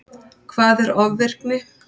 Hvað er ofvirkni?